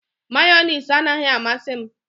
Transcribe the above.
Mayọnais anaghị amasị m